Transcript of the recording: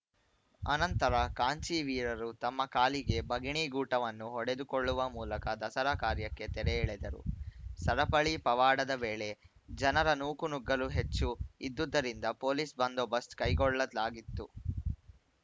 ಅನಂತರ ಕಾಂಚೀವೀರರು ತಮ್ಮ ಕಾಲಿಗೆ ಬಗಿಣಿಗೂಟವನ್ನು ಹೊಡೆದುಕೊಳ್ಳುವ ಮೂಲಕ ದಸರಾ ಕಾರ್ಯಕ್ಕೆ ತೆರೆಎಳೆದರು ಸರಪಳಿ ಪವಾಡದ ವೇಳೆ ಜನರ ನೂಕು ನುಗ್ಗಲು ಹೆಚ್ಚು ಇದ್ದುದ್ದರಿಂದ ಪೊಲೀಸ್‌ ಬಂದೋಬಸ್ತ್ ಕೈಗೊಳ್ಳಲಾಗಿತ್ತು